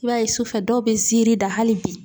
I b'a ye sufɛ dɔw be nsiirin da hali bi